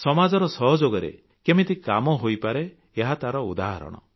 ସମାଜର ସହଯୋଗରେ କେମିତି କାମ ହୋଇପାରେ ଏହା ତାହାର ଉଦାହରଣ